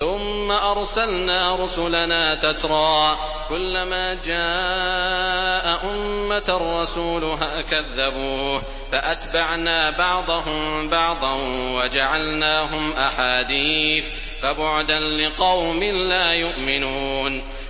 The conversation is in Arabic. ثُمَّ أَرْسَلْنَا رُسُلَنَا تَتْرَىٰ ۖ كُلَّ مَا جَاءَ أُمَّةً رَّسُولُهَا كَذَّبُوهُ ۚ فَأَتْبَعْنَا بَعْضَهُم بَعْضًا وَجَعَلْنَاهُمْ أَحَادِيثَ ۚ فَبُعْدًا لِّقَوْمٍ لَّا يُؤْمِنُونَ